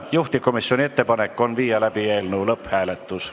Juhtivkomisjoni ettepanek on viia läbi eelnõu lõpphääletus.